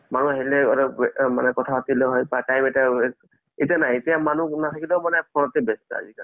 আজিকালি